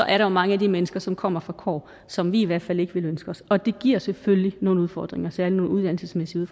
er der mange af de mennesker derfra som kommer fra kår som vi i hvert fald ikke ville ønske os og det giver selvfølgelig nogle udfordringer særlig nogle uddannelsesmæssige